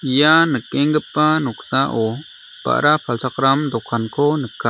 ia nikenggipa noksao ba·ra palchakram dokanko nika.